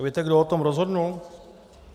A víte, kdo o tom rozhodl?